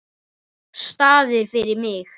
Staðir fyrir mig.